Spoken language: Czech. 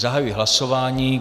Zahajuji hlasování.